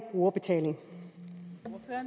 brugerbetaling